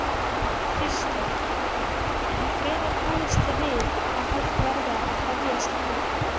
Kristján: En hvenær búist þið við að hægt verði að hefjast handa?